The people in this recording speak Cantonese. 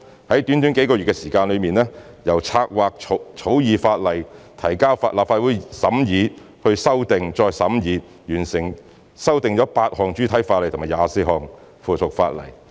在短短幾個月的時間，由策劃、草擬法例、提交立法會審議、作出修訂、再審議，最後修訂了8項主體法例和24項附屬法例。